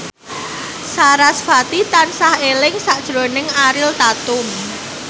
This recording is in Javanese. sarasvati tansah eling sakjroning Ariel Tatum